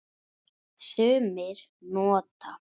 Sumir nota